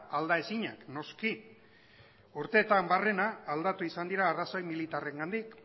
aldaezinak noski urteetan barrena aldatu izan dira arrazoi militarrengandik